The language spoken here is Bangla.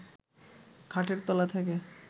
খাটের তলা থেকে